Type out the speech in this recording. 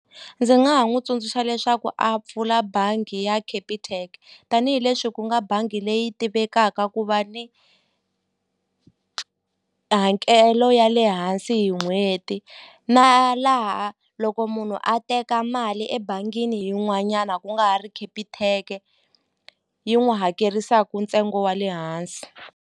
Ndzi nga ha n'wi tsundzuxa leswaku a pfula bangi ya Capitec tanihileswi ku nga bangi leyi tivekaka ku va ni hakelo ya le hansi hi n'hweti na laha loko munhu a teka mali ebangini yin'wanyana ku nga ha ri Capitec yi n'wu hakerisaku ntsengo wa le hansi.